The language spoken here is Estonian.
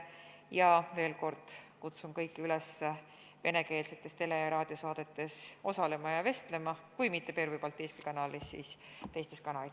Ühtlasi kutsun veel kord kõiki üles venekeelsetes tele- ja raadiosaadetes osalema ja vestlema – kui mitte Pervõi Baltiiski Kanalis, siis teistes kanalites.